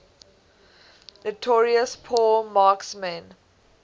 notorious poor marksmen